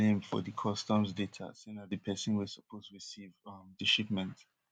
name for di customs data say na di pesin wey suppose recieve um di shipment